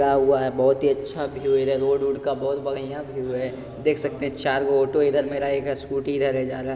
हुआ है बहुत ही अच्छा व्यू है रोड - उड का बहुत बढ़ियां व्यू है देख सकते हैं चार गो ऑटो इधर मेरा एक स्कूटी इधर है जा रहा है।